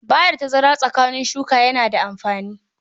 Ba da tazara tsakanin shuka yana da amfani.